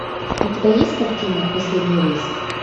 у тебя есть картина последний рейс